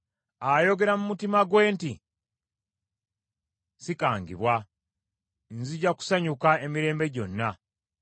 Ayogera mu mutima gwe nti, “Sikangibwa, nzija kusanyuka emirembe gyonna.”